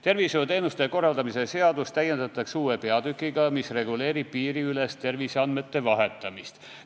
Tervishoiuteenuste korraldamise seadust täiendatakse uue peatükiga, mis reguleerib piiriülest terviseandmete vahetamist.